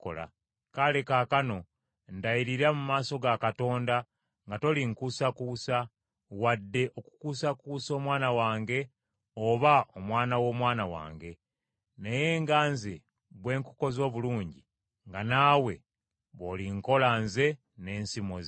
kale kaakano ndayirira mu maaso ga Katonda nga tolinkuusakuusa, wadde okukuusakuusa omwana wange oba omwana w’omwana wange. Naye nga nze bwe nkukoze obulungi nga naawe bw’olinkola nze n’ensi mw’ozze.”